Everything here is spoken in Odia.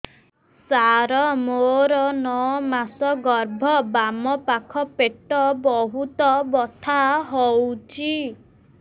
ସାର ମୋର ନଅ ମାସ ଗର୍ଭ ବାମପାଖ ପେଟ ବହୁତ ବଥା ହଉଚି